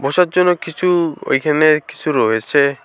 বসার জন্য কিছু ওইখানে কিছু রয়েছে।